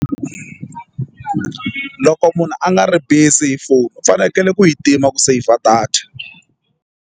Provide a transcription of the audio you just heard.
Loko munhu a nga ri busy hi foni u fanekele ku yi tima ku save a data.